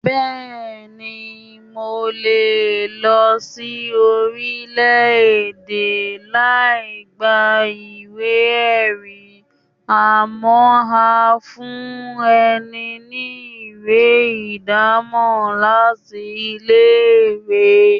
Bẹ́ẹ̀ni, mo lè lọ sin orílẹ̀-èdè láì gba ìwé-ẹ̀rí, àmọ́ wón á fún ẹni ní ìwé ìdámọ̀ láti ilé-ìwé.